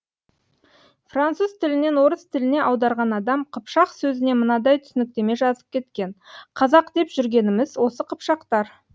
француз тілінен орыс тіліне аударған адам қыпшақ сөзіне мынадай түсініктеме жазып кеткен қазақ деп жүргеніміз осы қыпшақтар